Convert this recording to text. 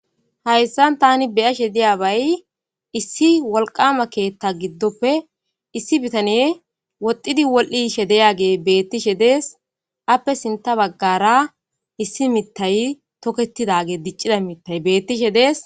hayssan tani beyashe diya bay issi wolqama keethta giddoppe issi bitaniye woxdidi wol7iishe deyage beettishe dees appe sinta baggara issi mittay toketidage diccida mittay bettishe dees